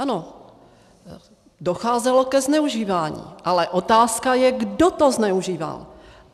Ano, docházelo ke zneužívání, ale otázka je, kdo to zneužíval.